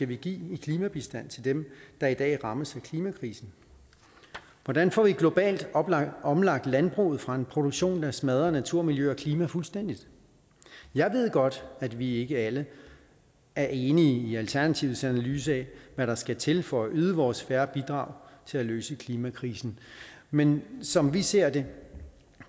vi give i klimabistand til dem der i dag rammes af klimakrisen hvordan får vi globalt omlagt landbruget fra en produktion der smadrer natur miljø og klima fuldstændig jeg ved godt at vi ikke alle er enige i alternativets analyse af hvad der skal til for at yde vores fair bidrag til at løse klimakrisen men som vi ser det